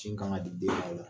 Sin kan ka di den ma o la